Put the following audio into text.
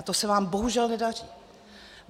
A to se vám bohužel nedaří.